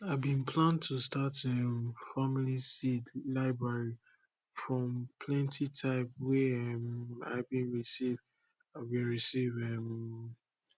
i bin plan to start um family seed library from plenti type wey um i been receive i been receive um